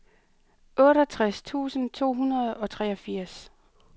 otteogtres tusind to hundrede og treogfirs